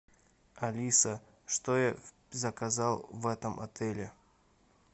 алиса что я заказал в этом отеле